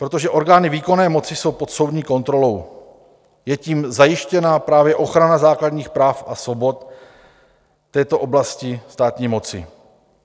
Protože orgány výkonné moci jsou pod soudní kontrolou, je tím zajištěna právě ochrana základních práv a svobod v této oblasti státní moci.